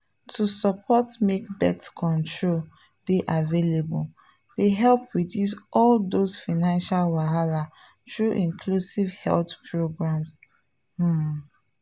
to support make birth control dey available dey help reduce all those financial wahala through inclusive health programs… um